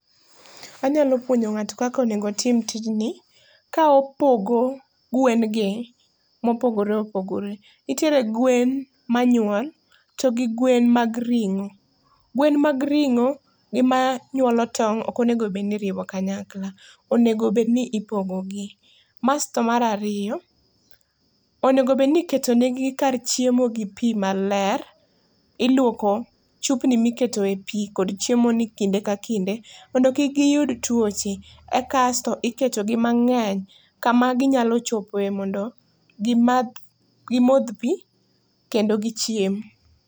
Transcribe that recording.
Anyalo puonjo ngato kaka onego otim tijni ka opogo gwen gi ma opogore opogore. Nitiere gwen manyuol togi gwen mag ringo. Gwen mag ringo gi manyuolo tong ok onego iriwo kanyakla, onego obed ni ipogo gi. Basto mar ariyo onego obedni iketo negi kar chiemo gi pii maler, iluoko chupni mikete e pii kod chiemo ni kinde ka kinde mondo kik giyud tuoche kasto iketogi mangeny kama ginyalo chopoe mondo gimadh, gimodh pii kendo gichiem